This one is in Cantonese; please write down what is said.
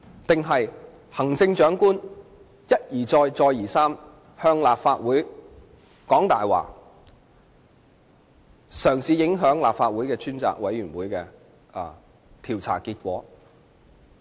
還是看到行政長官一而再，再而三向立法會說謊，嘗試影響立法會專責委員會的調查結果？